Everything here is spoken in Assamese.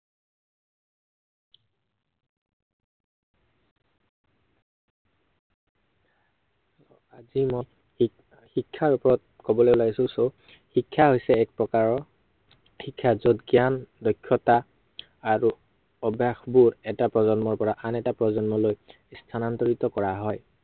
আজি মই শি~শিক্ষাৰ ওপৰত কবলৈ ওলাইছো so শিক্ষা হৈছে এক প্ৰকাৰৰ শিক্ষা হৈছে জ্ঞান, দক্ষতা আৰু অভ্য়সবোধ, এটা প্ৰজন্মৰ পৰা আন এটা প্ৰজন্মলৈ স্থানান্তৰিত কৰা হয়।